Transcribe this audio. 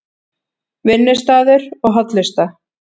Vinnustaður og hollusta